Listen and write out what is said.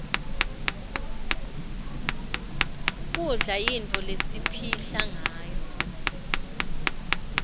kudla yintfo lesipihla ngayo